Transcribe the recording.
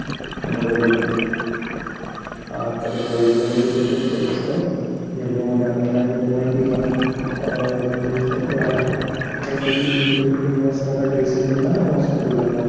बरोबर हा तर yellow मध्ये तसंच काही असतं yellow मध्ये आपण काय करतो माहिती आहे का? अं समजा काहीतरी dressing असतो ना? dressing करतो ना? आपण hospital ला